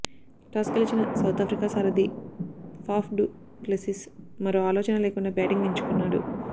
toss గెలిచిన South Africa సారథి Faf du Plessis మరో ఆలోచన లేకుండా బ్యాటింగ్ ఎంచుకున్నాడు